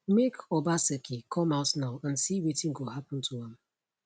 make obaseki come out now and see wetin go happun to am